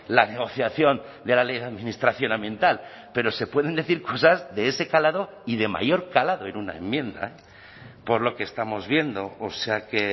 la negociación de la ley de administración ambiental pero se pueden decir cosas de ese calado y de mayor calado en una enmienda por lo que estamos viendo o sea que